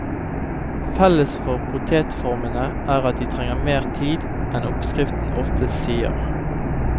Felles for potetformene er at de trenger mer tid enn oppskriften oftest sier.